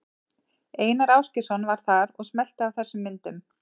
Einar Ásgeirsson var þar og smellti af þessum myndum.